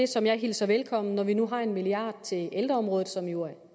det som jeg hilser velkommen når vi nu har en milliard kroner til ældreområdet som jo er